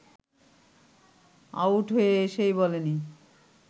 out হয়ে এসেই বলেনি